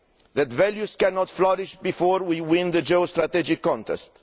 that values cannot flourish before we win the geostrategic contest